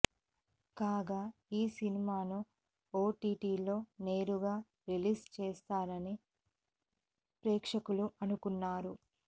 కాగా ఈ సినిమాను ఓటీటీలో నేరుగా రిలీజ్ చేస్తారని ప్రేక్షకులు అనుకున్నారు